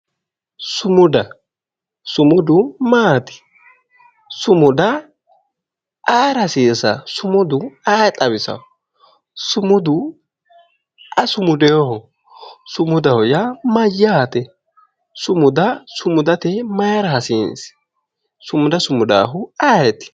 Sumuda sumudu maati? Sumuda ayeera hasiisawo? Sumudu ayee xawisawo? sumudu aye sumudeyooho? sumudaho yaa mayyate? Sumuda sumudate mayeera hasiisi? Sumuda sumudaahu ayeeti?